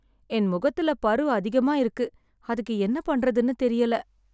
என் முகத்துல பரு அதிகமா இருக்கு, அதுக்கு என்ன பண்றதுன்னு தெரியல.